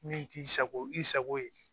Min k'i sago i sago ye